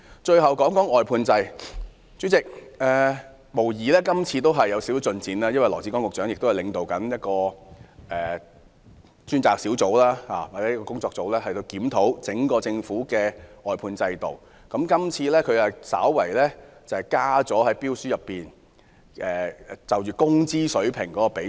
代理主席，這次的施政報告無疑是有點進展，因為羅致光局長領導一個跨部門工作小組，檢討整個政府的外判制度，這次他在標書納入工資水平的比重。